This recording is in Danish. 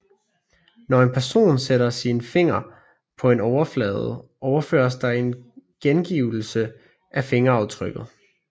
Når en person sætter sin finger på en overflade overføres der en gengivelse af fingeraftrykket